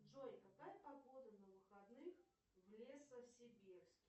джой какая погода на выходных в лесосибирске